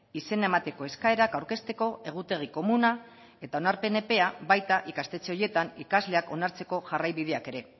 izena emateko eskaerak aurkezteko egutegi komuna eta onarpen epea baita ikastetxe horietan ikasleak onartzeko jarraibideak ere